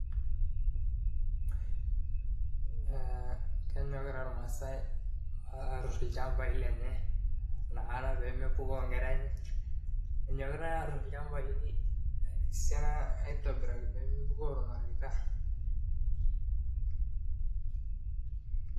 Ee kenyokita ilmaasai aatur ilchambai lenye nakata pee mepukoo inkera enye. Enyokitai aatur ilchambai esiana nakata pee mepukoo ilmareita.